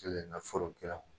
Fɔlɔ kɛra